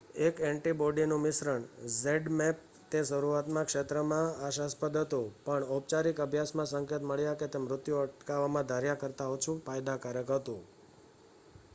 એક એન્ટિબોડી નું મિશ્રણ zmapp તે શરૂઆત માં ક્ષેત્ર માં આશાસ્પદ હતું પણ ઔપચારિક અભ્યાસ માં સંકેત મળ્યા કે તે મૃત્યુ અટકાવવામાં ધાર્યા કરતાં ઓછું ફાયદાકારક હતું